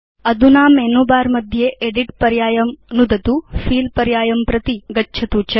अधुना menu bar मध्ये edit पर्यायं नुदतु फिल पर्यायं प्रति गच्छतु च